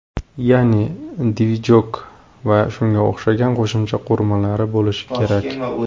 Ya’ni, ‘dvijok’ va shunga o‘xshagan qo‘shimcha qurilmalari bo‘lish kerak.